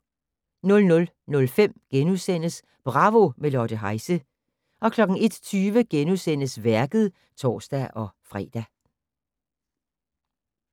00:05: Bravo - med Lotte Heise * 01:20: Værket *(tor-fre)